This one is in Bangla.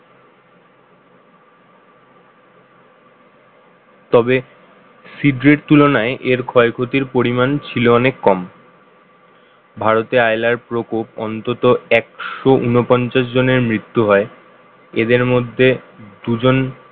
তবে শীগ্রেট তুলনায় এর ক্ষয়ক্ষতির পরিমাণ ছিল অনেক কম ভারতে আইলার প্রকোপ অন্তত একশো ঊনপঞ্চাশ জনের মৃত্যু হয় এদের মধ্যে দুজন